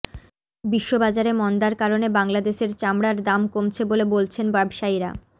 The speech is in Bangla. বিশ্ববাজারে মন্দার কারণে বাংলাদেশের চামড়ার দাম কমছে বলে বলছেন ব্যবসায়ীরা